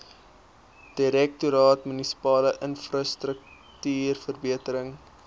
direktoraat munisipale infrastruktuurverbetering